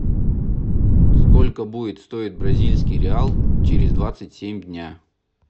сколько будет стоить бразильский реал через двадцать семь дня